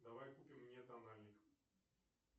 давай купим мне тональник